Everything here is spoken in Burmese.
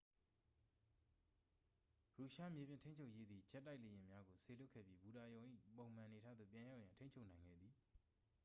ရုရှားမြေပြင်ထိန်းချုပ်ရေးသည် ဂျက်တိုက်လေယာဉ်များကို စေလွတ်ခဲ့ပြီး ဘူတာရုံ၏ ပုံမှန်အနေအထားသို့ ပြန်ရောက်ရန် ထိန်းချုပ်နိုင်ခဲ့သည်